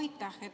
Aitäh!